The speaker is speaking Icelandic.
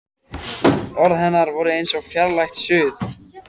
Orð hennar voru eins og fjarlægt suð.